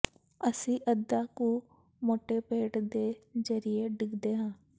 ਅਸੀਂ ਅੱਧਾ ਕੁ ਮੋਟੇ ਪੇਟ ਦੇ ਜ਼ਰੀਏ ਡਿੱਗਦੇ ਹਾਂ